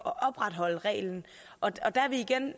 at opretholde reglen og der er vi igen